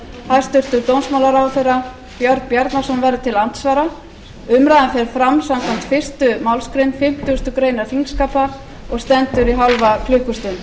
hæstvirtur dómsmálaráðherra björn bjarnason verður til andsvara umræðan fer fram samkvæmt fyrstu málsgrein fimmtugustu grein þingskapa og stendur í hálfa klukkustund